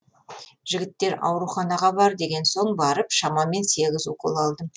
жігіттер ауруханаға бар деген соң барып шамамен сегіз укол алдым